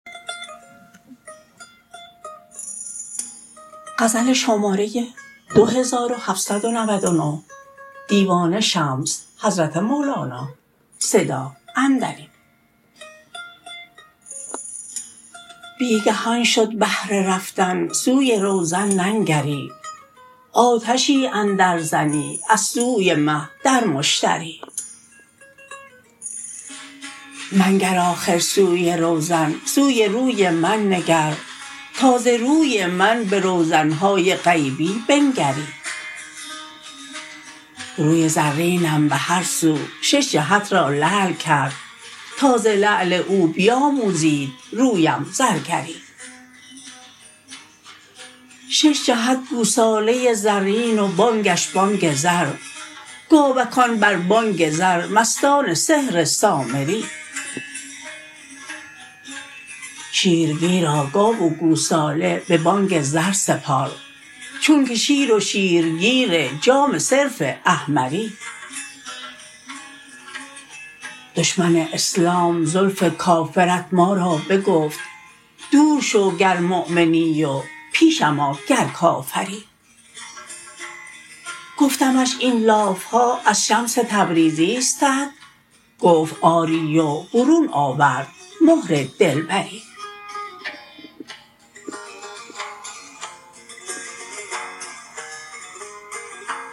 بی گهان شد هر رفتن سوی روزن ننگری آتشی اندرزنی از سوی مه در مشتری منگر آخر سوی روزن سوی روی من نگر تا ز روی من به روزن های غیبی بنگری روی زرینم به هر سو شش جهت را لعل کرد تا ز لعل تو بیاموزید رویم زرگری شش جهت گوساله ای زرین و بانگش بانگ زر گاوکان بر بانگ زر مستان سحر سامری شیرگیرا گاو و گوساله به بانگ زر سپار چونک شیر و شیرگیر جام صرف احمری دشمن اسلام زلف کافرت ما را بگفت دور شو گر مؤمنی و پیشم آ گر کافری گفتمش این لاف ها از شمس تبریزیستت گفت آری و برون آورد مهر دلبری